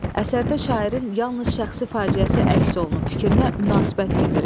Əsərdə şairin yalnız şəxsi faciəsi əks olunub fikrinə münasibət bildirin.